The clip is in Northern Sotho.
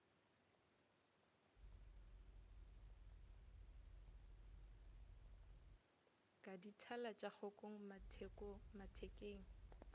ka dithala tša kgokong mathekeng